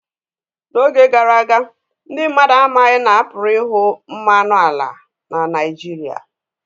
N'oge gara aga, ndị mmadụ amaghị na a pụrụ ịhụ mmanụ ala na Naijiria